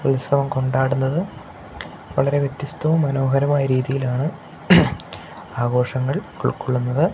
ഉത്സവം കൊണ്ടാടുന്നത് വളരെ വ്യത്യസ്തവും മനോഹരമായ രീതിയിലാണ് ആഘോഷങ്ങൾ ഉൾക്കൊള്ളുന്നത്.